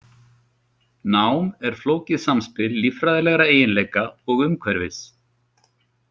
Nám er flókið samspil líffræðilegra eiginleika og umhverfis.